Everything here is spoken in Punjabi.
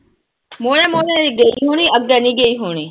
ਮੂਹਰੇ ਮੂਹਰੇ ਨੀ ਗਈ ਹੋਣੀ, ਅੱਗੇ ਨੀ ਗਈ ਹੋਣੀ।